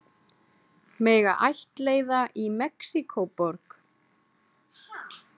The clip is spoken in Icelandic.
Mega ættleiða í Mexíkóborg